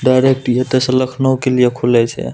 Direct इ एता से लखनऊ के लिए खुले छै।